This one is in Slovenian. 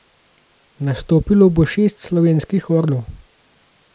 Nastopilo bo šest slovenskih orlov.